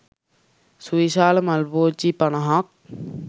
සුවිශාල මල් පෝච්චි පනහක්